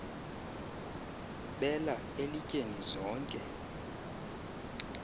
bela elityeni zonke